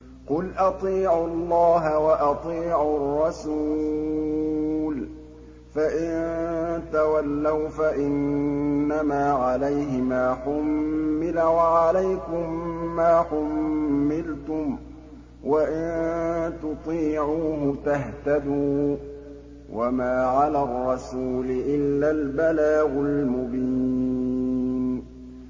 قُلْ أَطِيعُوا اللَّهَ وَأَطِيعُوا الرَّسُولَ ۖ فَإِن تَوَلَّوْا فَإِنَّمَا عَلَيْهِ مَا حُمِّلَ وَعَلَيْكُم مَّا حُمِّلْتُمْ ۖ وَإِن تُطِيعُوهُ تَهْتَدُوا ۚ وَمَا عَلَى الرَّسُولِ إِلَّا الْبَلَاغُ الْمُبِينُ